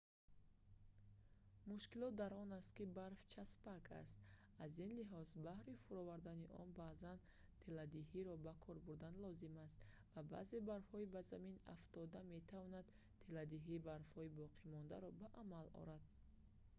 мушкилот дар он аст ки барф часпак аст аз ин лиҳоз баҳри фуровардани он баъзан теладиҳиро ба кор бурдан лозим аст ва баъзе барфҳои ба замин афтода метавонанд теладиҳии барфҳои боқимондаро ба амал оранд